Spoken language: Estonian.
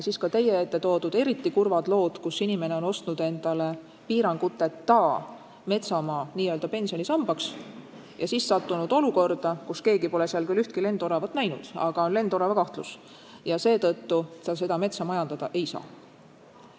On teada eriti kurvad lood, kus inimene on ostnud endale looduskaitseliste piiranguteta metsamaa n-ö pensionisambaks ja siis sattunud olukorda, kus keegi pole seal küll ühtki lendoravat näinud, aga on lendorava kahtlus ja seetõttu ta seda metsa majandada ei saa.